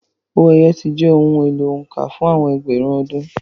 Owó ẹyọ ti jẹ́ ohun èlò òǹkà fún àwọn ẹgbẹ̀rún ọdún.